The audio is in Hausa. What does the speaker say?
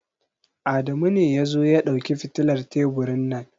Adamu ne ya zo ya dauki fitilar teburin nan.